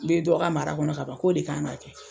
Me dɔ ka mara kɔnɔ ka ban k'o de kan k'a kɛ.